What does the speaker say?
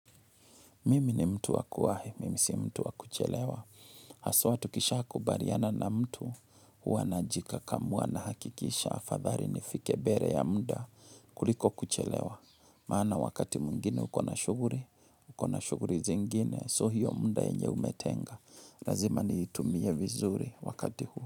Mimi ni mtu waku wahi, mimi si mtu wakuchelewa. Haswa tukisha kubaliana na mtu, huwa najikakamua nahakikisha. Afadhali nifike mbele ya muda kuliko kuchelewa. Maana wakati mwengine ukona shughuli, ukona shughuli zingine. So hiyo muda yenye umetenga. Lazima niitumie vizuri wakati huu.